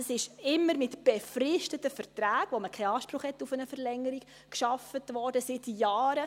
Es wurde immer mit befristeten Verträgen, bei denen man keinen Anspruch auf eine Verlängerung hat, gearbeitet, seit Jahren.